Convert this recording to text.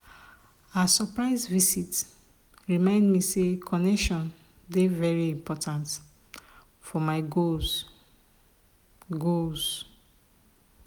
her surprise visit remind me say connection dey very important for my goals. goals.